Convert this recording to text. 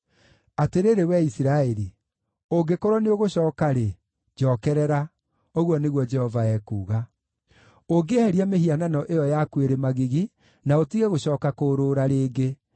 “Atĩrĩrĩ wee Isiraeli, ũngĩkorwo nĩũgũcooka-rĩ, njookerera,” ũguo nĩguo Jehova ekuuga. “Ũngĩeheria mĩhianano ĩyo yaku ĩrĩ magigi, na ũtige gũcooka kũũrũũra rĩngĩ,